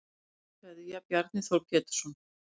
Ástarkveðja Bjarni Þór Pétursson